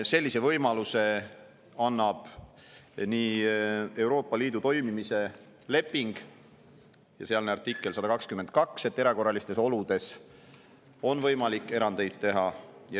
Sellise võimaluse annab Euroopa Liidu toimimise lepingu artikkel 122, et erakorralistes oludes on võimalik erandeid teha.